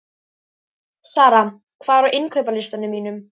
Sara, hvað er á innkaupalistanum mínum?